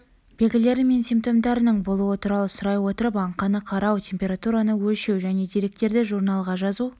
белгілері мен симптомдарының болуы туралы сұрай отырып аңқаны қарау температураны өлшеу және деректерді журналға жазу